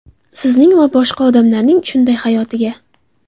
Sizning va boshqa odamlarning shunday hayotiga.